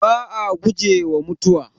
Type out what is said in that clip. Ba'a gujewa mutuwa.